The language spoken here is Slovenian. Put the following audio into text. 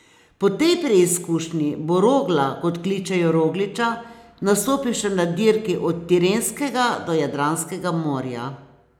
Po tej preizkušnji bo Rogla, kot kličejo Rogliča, nastopil še na dirki od Tirenskega do Jadranskega morja.